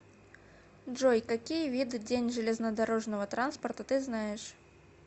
джой какие виды день железнодорожного транспорта ты знаешь